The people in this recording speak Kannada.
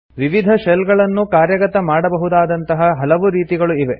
ವಿವಿಧ ಶೆಲ್ ಅನ್ನು ಕಾರ್ಯಗತ ಮಾಡಬಹುದಂತಹ ಹಲವು ರೀತಿಗಳು ಇವೆ